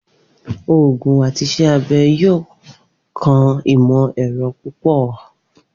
Oogun ati Iṣẹ abẹ yoo kan imọ-ẹrọ pupọ.